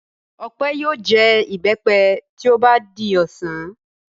Ọpẹ́ yóò jẹ ìbẹ́pẹ tí ó bá di ọ̀sán.